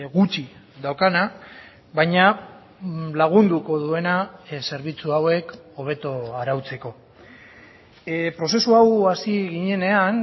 gutxi daukana baina lagunduko duena zerbitzu hauek hobeto arautzeko prozesu hau hasi ginenean